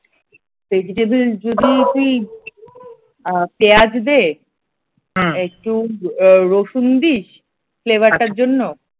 vegetables যদি তুই অ্যাঁ পেঁয়াজ দে একটু ও রসুন দিস flavour টার জন্য ।